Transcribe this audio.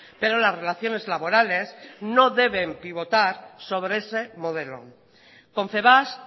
pero las relaciones laborales no deben pivotar sobre ese modelo confebask